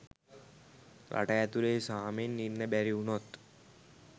රට ඇතුලේ සාමෙන් ඉන්න බැරි වුනොත්